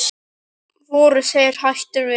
Voru þeir hættir við?